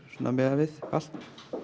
miðað við allt